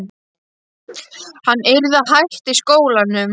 Hann yrði að hætta í skólanum!